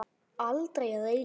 Aldrei að eilífu.